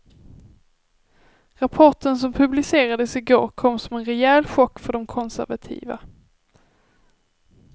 Rapporten som publicerades i går kom som en rejäl chock för de konservativa.